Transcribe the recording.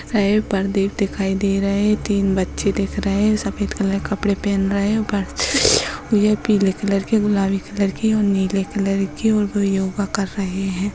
पर्दे दिखाई दे रहे है तीन बच्चे दिक् रहे है सफेद कलर के कपडे पहेने उपर पीले कलर के गुलाबी कलर के और नीले कलर के और वो योगा कर रहे हैं।